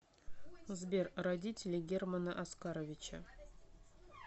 сбер родители германа оскаровича